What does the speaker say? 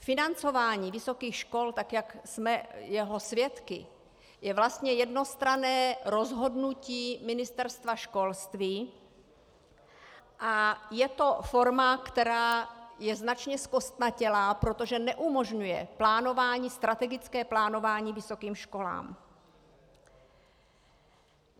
Financování vysokých škol, tak jak jsme jeho svědky, je vlastně jednostranné rozhodnutí Ministerstva školství a je to forma, která je značně zkostnatělá, protože neumožňuje strategické plánování vysokým školám.